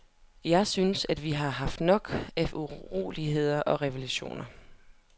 Jeg synes, at vi har haft nok af uroligheder og revolutioner.